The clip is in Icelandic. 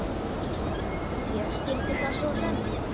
Ég skildi það svo sem.